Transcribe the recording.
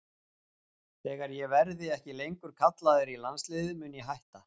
Þegar ég verði ekki lengur kallaður í landsliðið mun ég hætta.